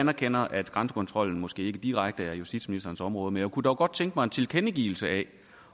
anerkender at grænsekontrollen måske ikke direkte er justitsministerens område men jeg kunne dog godt tænke mig en tilkendegivelse af